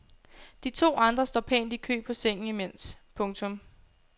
De to andre står pænt i kø på sengen imens. punktum